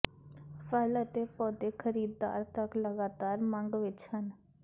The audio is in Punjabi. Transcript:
ਫਲ ਅਤੇ ਪੌਦੇ ਖਰੀਦਦਾਰ ਤੱਕ ਲਗਾਤਾਰ ਮੰਗ ਵਿੱਚ ਹਨ